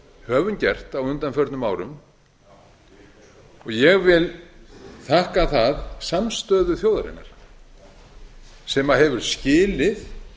höfum gert á undanförnum árum og ég vil þakka það samstöðu þjóðarinnar sem hefur skilið